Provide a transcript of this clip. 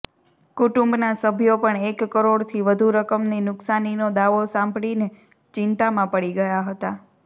કુટુંબના સભ્યો પણ એક કરોડથી વધુ રકમની નુકસાનીનો દાવો સાંભળીને ચિન્તામાં પડી ગયા હતા